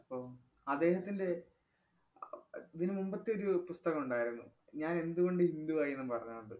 ഓ, അദ്ദേഹത്തിന്‍റെ ഇതിനു മുമ്പത്തെയൊരു പുസ്തകമുണ്ടായിരുന്നു ഞാൻ എന്തുകൊണ്ട് ഹിന്ദുവായീന്നും പറഞ്ഞോണ്ട്.